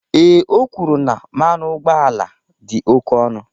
Ee, o kwuru na mmanụ ụgbọala dị oke ọnụ